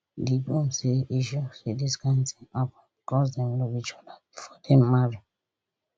di groom say e shock say dis kain tin happun becos dem love each oda bifor dem marry